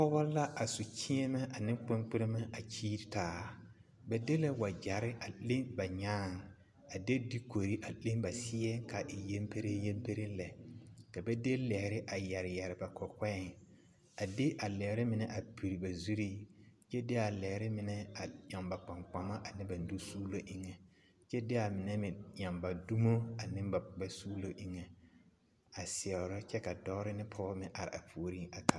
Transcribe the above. Pɔgɔ la a su kyeemɛ ane kpeŋkperemɛ a kyeere taa ba de la wagyɛre a leŋ ba nyaaŋ a de dukuri a leŋ ba seɛ k'a e yempereŋ yemereŋ lɛ ka ba de lɛɛre a yɛre yɛre ba kɔkɔŋ a de a lɛɛre mine a piri ba zuriŋ kyɛ de a lɛɛre mine a eŋ ba kpaŋkpama ane ba nusuulo eŋɛ kyɛ de a mine meŋ eŋ ba dumo ane ba suulo eŋɛ a seɛro kyɛ dɔɔre ne pɔgebɔ are a puoriŋ kaara.